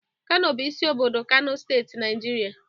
Kano bụ isi obodo Kano steeti, Naijiria.